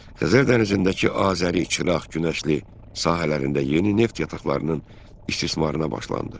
Xəzər dənizindəki Azəri, Çıraq, Günəşli sahələrində yeni neft yataqlarının istismarına başlanıldı.